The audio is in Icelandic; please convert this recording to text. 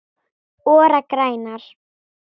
ORA grænar